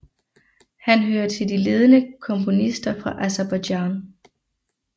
Han hører til de ledende komponister fra Aserbajdsjan